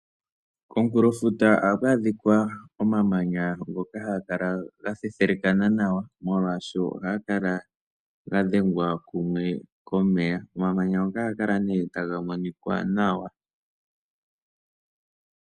komunkulofuta ohaku adhika omamanya ngoka ha ga kala ha thethelekana nawa, molwaashoka ohaga kalaga dhengwa kumwe komeya. Omamanya ngoka ohaga kala nee ta ga monika nawa.